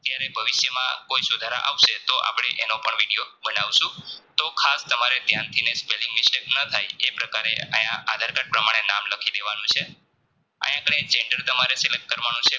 જયારે ભવિષ્યમાં કોઈ સુધારા આવશે તો આપડે એનો પણ Video બનાવશું તો ખાસ તમારે Spelling mistake ન થાય એ પ્રકારે આયા આધાર card પ્રમાણે નામ લખી દેવાનું છે આયા તમારે Select કરવાનું છે